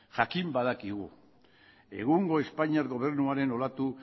jakin badakigu egungo espainiar gobernuaren olatu